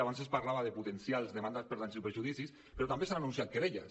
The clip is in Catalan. abans es parlava de potencials demandes per danys i perjudicis però també s’han anunciat querelles